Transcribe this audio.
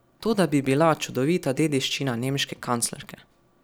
To da bi bila čudovita dediščina nemške kanclerke.